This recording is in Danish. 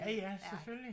Ja ja selvfølgelig